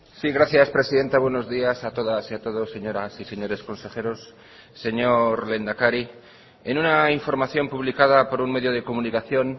sí gracias presidenta buenos días a todas y a todos señoras y señores consejeros señor lehendakari en una información publicada por un medio de comunicación